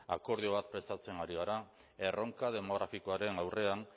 akordio bat prestatzen ari gara erronka demografikoaren aurrean